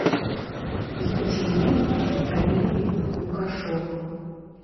екатерина равильевна лукашова